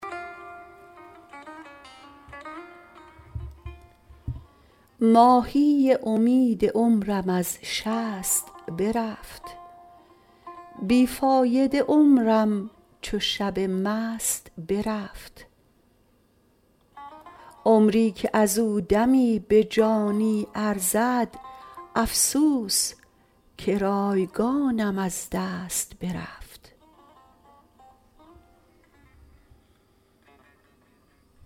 ماهی امید عمرم از شست برفت بیفایده عمرم چو شب مست برفت عمری که ازو دمی به جانی ارزد افسوس که رایگانم از دست برفت